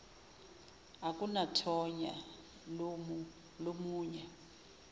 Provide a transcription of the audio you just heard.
akunathonya lomu nye